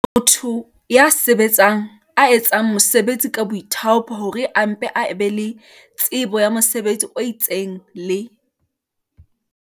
Motho ya sa sebetseng, ya etsang mosebetsi ka boithaopo hore a mpe a be le tsebo ya mosebetsi o itseng, le